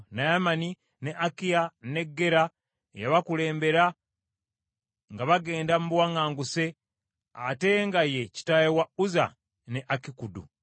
Naamani, ne Akiya, ne Gera eyabakulembera nga bagenda mu buwaŋŋanguse, ate nga ye kitaawe wa Uzza ne Akikudi.